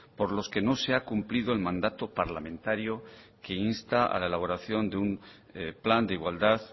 por los que no se ha cumplido el mandato parlamentario que insta a la elaboración de un plan de igualdad